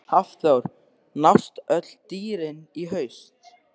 Hafþór: Nást öll dýr í haust?